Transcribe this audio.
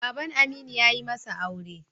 Baban Aminu ya yi masa aure.